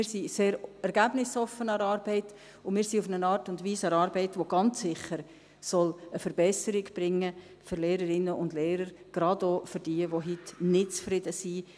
Wir sind sehr ergebnisoffen an der Arbeit, und wir sind auf eine Art und Weise an der Arbeit, die ganz sicher eine Verbesserung für Lehrerinnen und Lehrer bringen soll, gerade auch für die, welche heute nicht zufrieden sind.